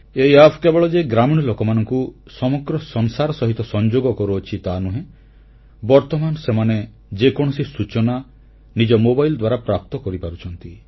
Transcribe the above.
ଏହି ଆପ୍ କେବଳ ଯେ ଗ୍ରାମୀଣ ଲୋକମାନଙ୍କୁ ସମଗ୍ର ସଂସାର ସହିତ ସଂଯୋଗ କରୁଅଛି ତାହା ନୁହେଁ ବର୍ତ୍ତମାନ ସେମାନେ ଯେକୌଣସି ସୂଚନା ଓ ନିଜ ମୋବାଇଲ ଦ୍ୱାରା ପ୍ରାପ୍ତ କରିପାରୁଛନ୍ତି